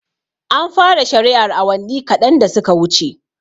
An fara shari'ar awanni kaɗan da suka wuce